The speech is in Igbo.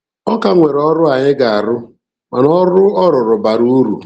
A ka nwere ọrụ anyị ga-arụ, mana ọrụ ọ rụrụ bara uru.